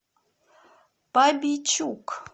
бабийчук